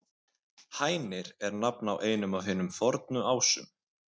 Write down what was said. Hænir er nafn á einum af hinum fornu Ásum.